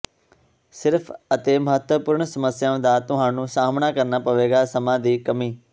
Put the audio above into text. ਸਿਰਫ ਅਤੇ ਮਹੱਤਵਪੂਰਣ ਸਮੱਸਿਆ ਦਾ ਤੁਹਾਨੂੰ ਸਾਹਮਣਾ ਕਰਨਾ ਪਵੇਗਾ ਸਮਾਂ ਦੀ ਕਮੀ